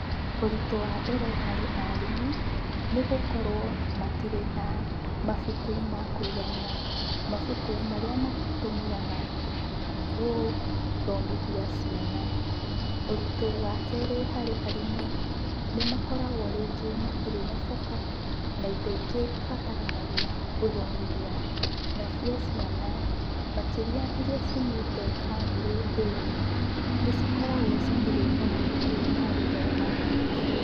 Ũritũ wa mbere harĩ arimũ, nĩ gũkorwo matirĩ na mabuku makuigania. Mabuku marĩa matũmĩraga rĩngĩ gũthomithia ciana. Ũritũ wa kerĩ harĩ arimũ, nĩmakoragwo rĩngĩ matirĩ na coka na indo ingĩ ibataranagia gũthomithia. Nacio ciana, makĩria iria ciumĩte bamĩrĩ thĩni, nĩcikoragwo citirĩ na mabuku ma gũthoma.